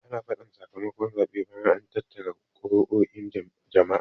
Ana faɗan saka makon zaɓe bayan an tattara kuruo'in jama'a